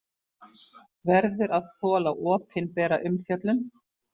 Verður að þola opinbera umfjöllun